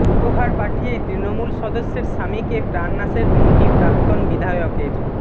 উপহার পাঠিয়ে তৃণমূল সদস্যের স্বামীকে প্রাণনাশের হুমকি প্রাক্তন বিধায়কের